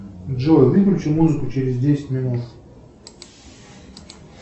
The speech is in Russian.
джой выключи музыку через десять минут